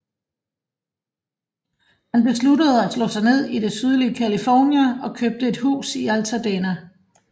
Han besluttede at slå sig ned i det sydlige California og købte et hus i Altadena